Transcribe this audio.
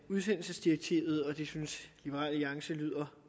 af udsendelsesdirektivet og det synes liberal alliance lyder